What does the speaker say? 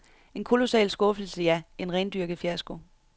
En kolossal skuffelse, ja, en rendyrket fiasko.